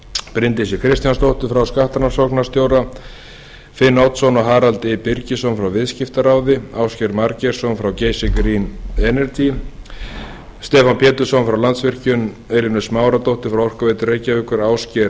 bryndísi kristjánsdóttur frá skattrannsóknarstjóra ríkisins finn oddsson og harald fyrstu birgisson frá viðskiptaráði ásgeir margeirsson frá geysi green energy stefán pétursson frá landsvirkjun elínu smáradóttur frá orkuveitu reykjavíkur ásgeir